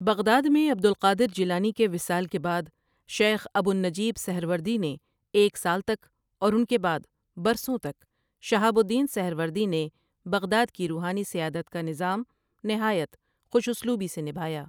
Baghdad میں عبد القادِر جیلانی کے وِصال کے بعد شیخ ابو النجیب سہروردی نے ایک سال تک اور اُن کے بعد برسوں تک شہاب الدین سہروردی نے بغداد کی روٗحانی سیادت کا نظام نہایت خوش اسلوبی سے نبھایا ۔